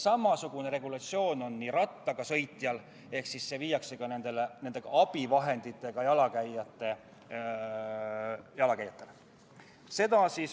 Samasugune regulatsioon on juba kehtestatud jalgrattaga sõitjale, muudatusettepanekuga nr 5 hakkaks see kehtima ka abivahenditega jalakäijatele.